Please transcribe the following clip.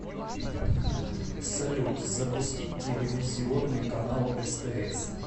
салют запустить телевизионный канал стс